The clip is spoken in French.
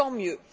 Tant mieux!